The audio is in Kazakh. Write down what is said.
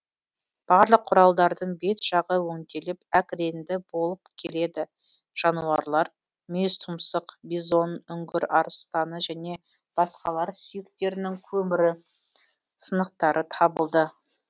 барлық кұралдардың бет жағы өңделіп әк реңді болып келеді жануарлар мүйізтұмсық бизон үңгір арыстаны және басқалар сүйектерінің көмірі сынықтары табылды